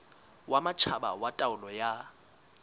wa matjhaba wa taolo ya